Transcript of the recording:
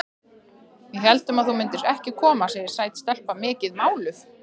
Við héldum að þú myndir ekki koma, segir sæt stelpa, mikið máluð.